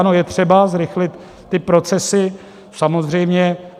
Ano, je třeba zrychlit ty procesy, samozřejmě.